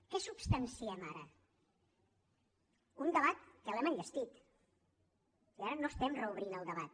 què substanciem ara un debat que l’hem enllestit i ara no estem reobrint el debat